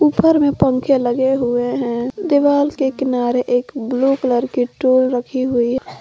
घर में पंखे लगे हुए हैं दिवाल के किनारे एक ब्लू कलर की टूल रखी हुई--